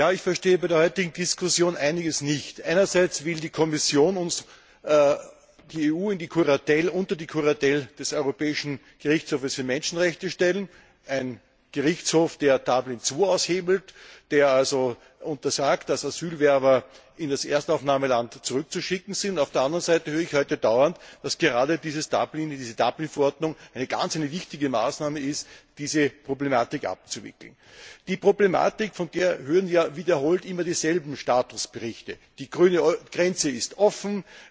Ich verstehe bei der heutigen Diskussion einiges nicht. Einerseits will die Kommission die EU unter die Kuratel des Europäischen Gerichtshofs für Menschenrechte stellen, eines Gerichtshofs, der Dublin II aushebelt, der also untersagt, dass Asylbewerber in das Erstaufnahmeland zurückzuschicken sind. Auf der anderen Seite höre ich heute dauernd, dass gerade diese Dublin II Verordnung eine ganz wichtige Maßnahme ist, um diese Problematik zu lösen. Von der Problematik hören wir wiederholt immer dieselben Statusberichte die grüne Grenze ist offen,